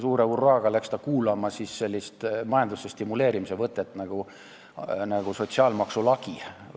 Suure hurraaga hakati seal proovima sellist majanduse stimuleerimise võtet nagu sotsiaalmaksu lagi.